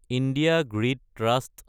India grid trust